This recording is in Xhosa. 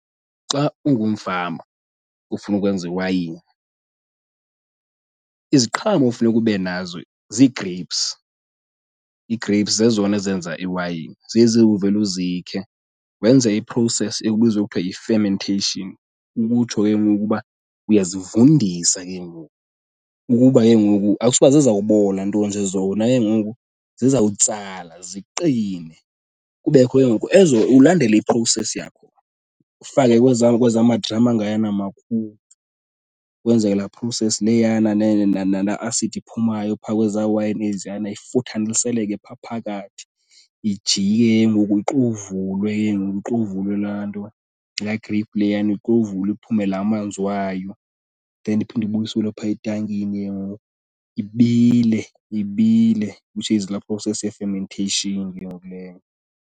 Xa ungumfama ufuna ukwenza iwayini, iziqhamo okufuneka ube nazo zii-grapes. I-grapes zezona ezenza iwayini, zezi uvele uzikhe wenze i-process ekubizwa kuthiwa yi-fermentation. Ukutsho ke ngoku uba uyazivundisa ke ngoku ukuba ke ngoku, akutshuba zizawubola nto nje zona ke ngoku zizawutsala ziqine. Kubekho ke ngoku ezo, ulandele i-process yakho ufake kwezaa kwezaa madrama, angayana makhulu kwenzeke laa process leyana. Nala asidi iphumayo phaa kweza wayini eziyana ifuthaniseleke phaa phakathi, ijike ke ngoku ixovulwe ke ngoku ixovulwe laa nto, laa grape leyana, ixovulwe iphume laa manzi wayo. Then iphinde ibuyiselwe phaa etankini ke ngoku ibile. Ibile, which is laa process ye-fermentation ke ngoku leyo.